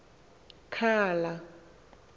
khala